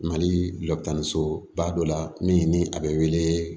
Mali la dɔkitani soba dɔ la min ni a be wele